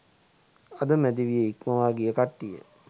අද මැදි විය ඉක්මවාගිය කට්ටිය